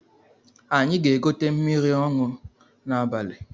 Anyị ga-egote mmiri ọṅụ n’abali